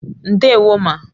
Ndewo ma